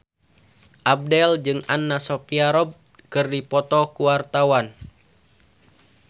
Abdel jeung Anna Sophia Robb keur dipoto ku wartawan